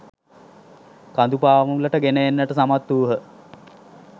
කඳු පාමුලට ගෙන එන්නට සමත් වූහ.